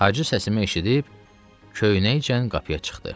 Hacı səsimi eşidib köynəkcə qapıya çıxdı.